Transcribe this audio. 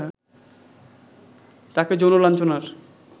তাকে যৌন লাঞ্ছনার